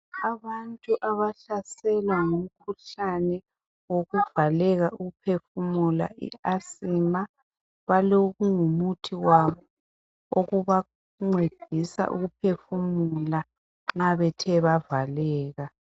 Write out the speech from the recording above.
Abantu abahlaselwa ngumkhuhlane wokuvaleka uphefumula i asima balokungumuthi wabo okubancedisa ukuphefumula nxa bethe bavaleka.